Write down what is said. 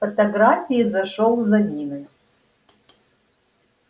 фотографии зашёл за ниной